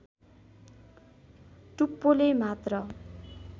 टुप्पोले मात्र